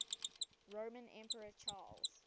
roman emperor charles